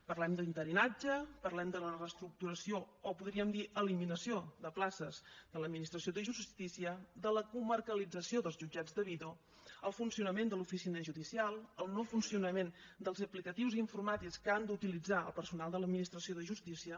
parlem d’interinatge parlem de la reestructuració o podríem dir eliminació de places de l’administració de justícia de la comarcalització dels jutjats de vido el funcionament de l’oficina judicial el no funcionament de les aplicacions informàtiques que ha d’utilitzar el personal de l’administració de justícia